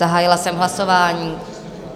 Zahájila jsem hlasování.